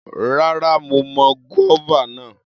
Rárá, mo mọ guava náà.